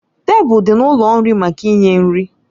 Tebụl dị n'ụlọ nri maka inye nri